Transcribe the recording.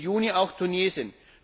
im Juni auch Tunesien.